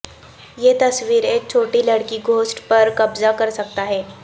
یہ تصویر ایک چھوٹی لڑکی گھوسٹ پر قبضہ کر سکتا ہے